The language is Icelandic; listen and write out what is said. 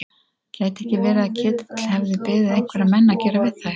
Gæti ekki verið að Ketill hefði beðið einhverja menn að gera við þær?